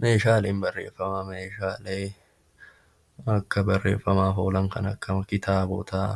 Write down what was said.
Meeshaaleen barreeffamaa meeshaalee akka barreeffamaaf oolan kan akka kitaabotaa,